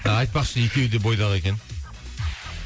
а айтпақшы екеуі де бойдақ екен